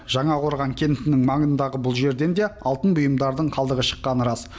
жаңақорған кентінің маңындағы бұл жерден де алтын бұйымдардың қалдығы шыққаны рас